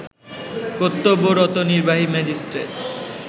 কর্তব্যরত নির্বাহী ম্যাজিষ্ট্রেট